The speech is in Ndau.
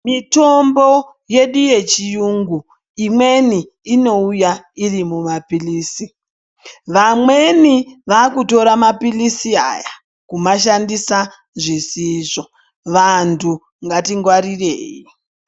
Mitombo yedu ye chiyungu imweni inouya iri mu mapilizi vamweni vakutora mapilisi aya kuma shandisa zvisizvo vantu ngati ngwarirei.